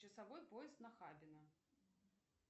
часовой пояс нахабино